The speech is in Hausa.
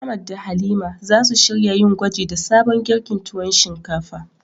Ahmad da Halima zasu shirya yin gwaji da sabon girkin tuwo shinkafa.